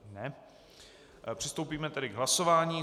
Přistoupíme tedy k hlasování.